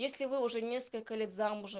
если вы уже несколько лет замужем